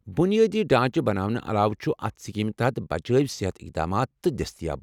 بنیٲدی ڈھانچہ بناونہٕ علاوٕ چھ اتھ سکیٖمہٕ تحت بچٲوی صحت اقدامات تہِ دٔستیاب۔